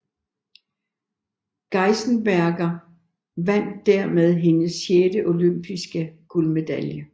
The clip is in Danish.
Geisenberger vandt dermed hendes sjette olympiske guldmedalje